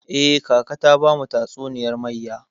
Eh, kaka ta bamu tatsuniyar mayya.